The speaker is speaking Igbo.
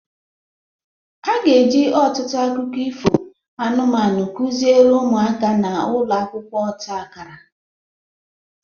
A ga-eji ọtụtụ akụkọ ifo anụmanụ kụziere ụmụaka na ụlọ akwụkwọ ọta akara